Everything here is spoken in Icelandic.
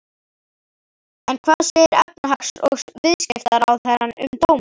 En hvað segir efnahags- og viðskiptaráðherra um dóminn?